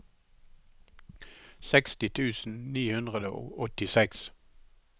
seksti tusen ni hundre og åttiseks